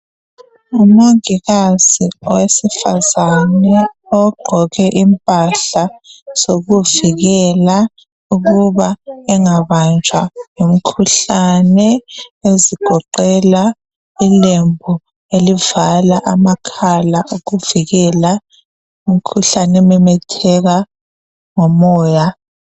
Ngumongikazi owesifazane, ogqoke impahla zokuvikela. Ukuba angabanjwa ngumkhuhlane. Ezigoqela ilembu elivala amakhala. Ukuvikela umkhuhlane ememetheka ngomoya.